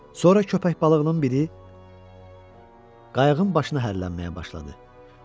Sonra köpək balıqlarından biri qayığın başına hərlənməyə başladı.